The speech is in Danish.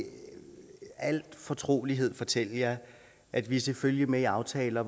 al fortrolighed fortælle jer at vi selvfølgelig er med i aftaler